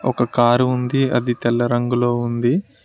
ఒక కారు ఉంది అది తెల్ల రంగులో ఉంది.